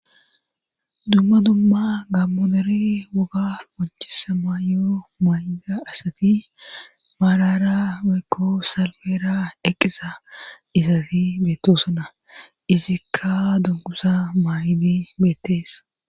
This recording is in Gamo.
Dumma dumma gaammo dera mayo qonccisiya maayo mayida asati maarara woykko salfera eqqiza izati beettoosona izikka dungguza maayidi beettees.